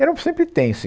Era sempre tenso.